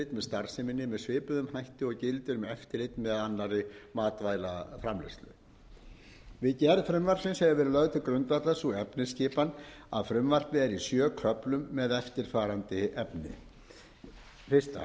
starfseminni með svipuðum hætti og gildir um eftirlit með annarri matvælaframleiðslu við gerð frumvarpsins hefur verið lögð til grundvallar sú efnisskipan að frumvarpið er í sjö köflum með eftirfarandi efni eins